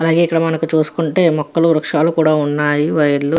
అలాగే ఇక్కడ మనం చూసుకుంటే వృక్షాలు మొక్కలు కూడా వున్నాయ్. వైర్లు --